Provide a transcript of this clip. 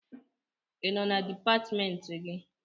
Ị nọ na dipatịmentị gị?